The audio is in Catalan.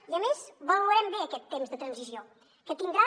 i a més valorem bé aquest temps de transició que tindrà